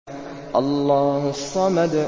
اللَّهُ الصَّمَدُ